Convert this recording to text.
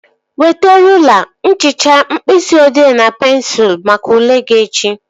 Weta rụla, nchicha, mkpịsị odee na pensụl maka ule gị echi